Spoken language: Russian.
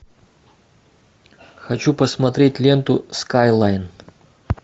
хочу посмотреть ленту скайлайн